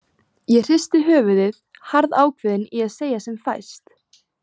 Ég hristi höfuðið, harðákveðin í að segja sem fæst.